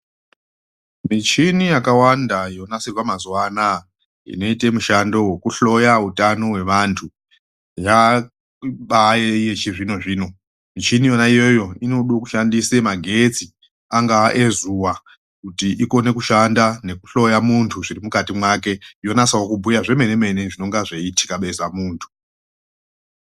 Mishini yakawanda yonasirwa mazuva akona ano aya inoite mishando wekuhloya utano hwevantu, yabayeiyeyo yechizvino-zvino, mishini yoya iyoyo inoda kushandise magetsi angava ezuva kuti igone kushanda nekuhloya muntu zvirimukati make yonyatsa kubhuya zvomene-mene zvinonga zvichiitika besa muntu.